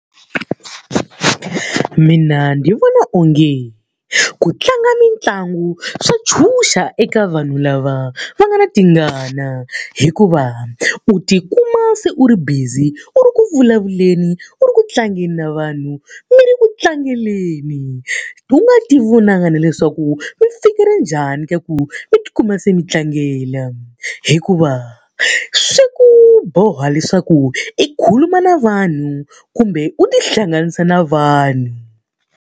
Mina ni vona onge ku tlanga mitlangu swa ntshunxa eka vanhu lava va nga na tingana hikuva u tikuma se u ri busy u ri ku vulavuleni, u ri ku tlangeni na vanhu, mi ri ku tlangeleni, u nga ti vonangi na leswaku mi fike njhani ka ku mi tikuma se mi tlangela. Hikuva swi ku boha leswaku i khuluma na vanhu kumbe u tihlanganisa na vanhu.